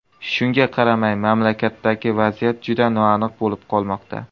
Shunga qaramay, mamlakatdagi vaziyat juda noaniq bo‘lib qolmoqda.